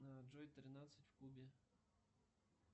джой тринадцать в кубе